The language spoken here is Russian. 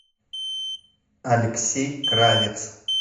алексей кравец